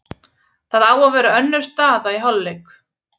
Það á að vera önnur staða í hálfleik.